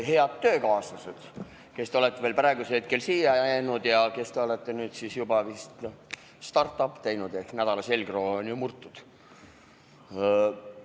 Head töökaaslased, kes te olete veel praegusel hetkel siia jäänud ja kes te olete juba vist start up'i teinud ehk nädala selgroog on murtud!